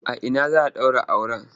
A ina za a ɗaura auren?